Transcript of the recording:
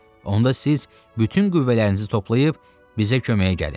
Onda siz bütün qüvvələrinizi toplayıb bizə köməyə gəlin.